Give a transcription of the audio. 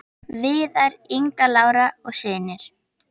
Viðar, Inga Lára og synir.